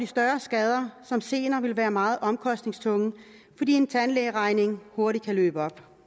større skader som senere vil være meget omkostningstunge fordi en tandlægeregning hurtigt kan løbe op